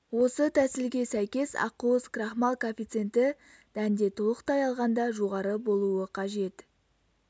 осы тәсілге сәйкес ақуыз крахмал коэффиценті дәнде толықтай алғанда жоғары болуы қажет